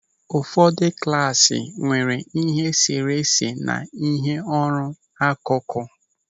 Ụfọdụ klasị nwere ịhe e sere ese na ịhe ọrụ n'akụkụ.